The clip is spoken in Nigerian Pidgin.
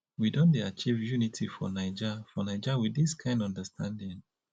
we don dey achieve unity for naija for naija wit dis kind understanding